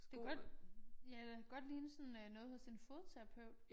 Det kan godt ja eller godt ligne sådan øh noget hos en fodterapeut